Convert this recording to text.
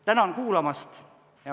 Tänan kuulamast!